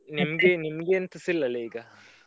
ನಿಮ್ಗೆ ನಿಮ್ಗೆ ಎಂತಸ ಇಲ್ಲಾ ಅಲ್ಲಾ ಈಗಾ?